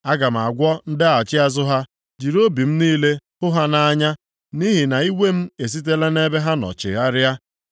“Aga m agwọ ndaghachi azụ ha, jiri obi m niile hụ ha nʼanya, nʼihi na iwe m esitela nʼebe ha nọ chigharịa.